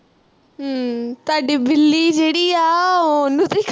ਹਮ ਤੁਹਾਡੀ ਬਿੱਲੀ ਜਿਹੜੀ ਆ ਉਹਨੂੰ ਤੁਹੀ